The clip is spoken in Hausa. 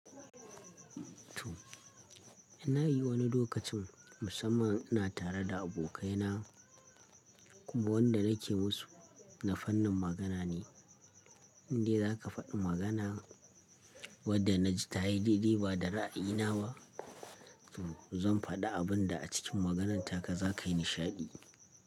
To, ina yi wani lokacin musamman ina tare da abokaina. Kuma wanda nake musu na fannin magana ne. In dai za ka fadi magana wadda na ji ta yi daidai ba da ra'ayina ba, to zan faɗi abun da a cikin magananta ka za ka yi nishaɗi.